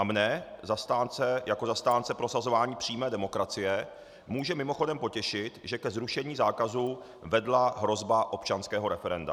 A mě jako zastánce prosazování přímé demokracie může mimochodem potěšit, že ke zrušení zákazu vedla hrozba občanského referenda.